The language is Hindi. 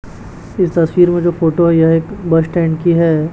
इस तस्वीर में जो फोटो है यह एक बस स्टैंड की है।